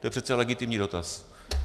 To je přece legitimní dotaz.